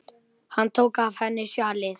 Hann tók af henni sjalið.